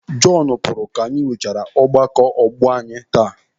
Jọnu pụrụ ka anyị nwechaara ọgbakọ ọgbọ anyị taa.